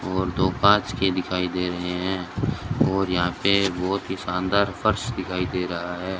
और दो कांच के दिखाई दे रहे हैं और यहां पे बहोत ही शानदार फर्श दिखाई दे रहा है।